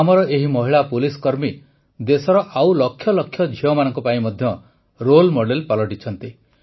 ଆମର ଏହି ମହିଳା ପୁଲିସକର୍ମୀ ଦେଶର ଆଉ ଲକ୍ଷ ଲକ୍ଷ ଝିଅମାନଙ୍କ ପାଇଁ ମଧ୍ୟ ରୋଲ୍ ମଡେଲ୍ ପାଲଟିଛନ୍ତି